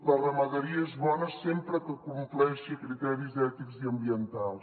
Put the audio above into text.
la ramaderia és bona sempre que compleixi criteris ètics i ambientals